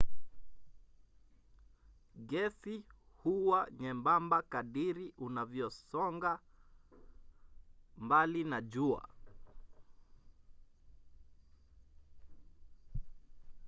gesi huwa nyembamba kadiri unavyosonga mbali na jua